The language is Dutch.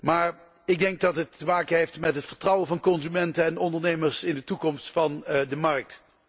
Maar ik denk dat het te maken heeft met het vertrouwen van consumenten en ondernemers in de toekomst van de markt.